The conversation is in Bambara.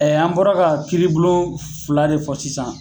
an bɔra ka kiriblon fila de fɔ sisan.